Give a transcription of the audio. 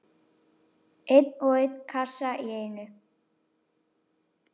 Einn og einn kassa í einu.